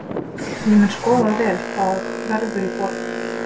Ég mun skoða vel hvað verður í boði.